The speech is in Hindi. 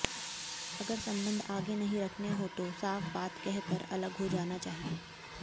अगर संबंध आगे नहीं रखने हों तो साफ बात कह कर अलग हो जाना चाहिए